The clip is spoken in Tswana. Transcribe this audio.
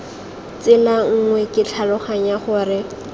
tsela nngwe ke tlhaloganya gore